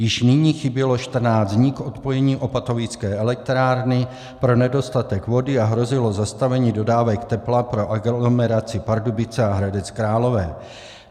Již nyní chybělo 14 dní k odpojení opatovické elektrárny pro nedostatek vody a hrozilo zastavení dodávek tepla pro aglomeraci Pardubice a Hradec Králové.